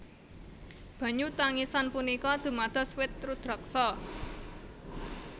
Banyu tangisan punika dumados wit rudraksa